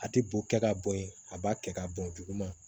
A tɛ bo kɛ ka bɔn ye a b'a kɛ ka bɔn juguman